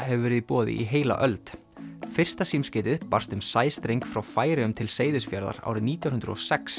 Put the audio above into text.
hefur verið í boði í heila öld fyrsta símskeytið barst um sæstreng frá Færeyjum til Seyðisfjarðar árið nítján hundruð og sex